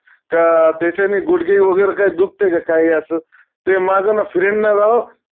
का त्याच्याने गुडघे वगैरे काय दुखतंय कांही असं? ते माझं ना friend ना राव